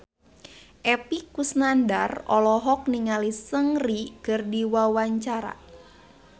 Epy Kusnandar olohok ningali Seungri keur diwawancara